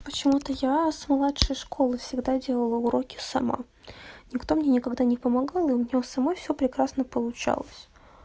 почему-то я с младшей школы всегда делала уроки сама никто мне никогда не помогал и у него сама все прекрасно получалось